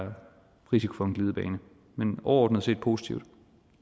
risiko for en glidebane men overordnet set positive